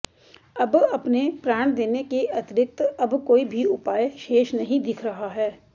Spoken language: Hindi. अब अपने प्राण देने के अतिरिक्त अब कोई भी उपाय शेष नहीं दिख रहा है